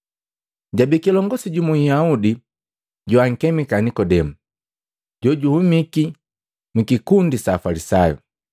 Jabii kilongosi jumu Nhyaudi joankemika Nikodemu, jojuhumiki mwikikundi sa Afalisayu.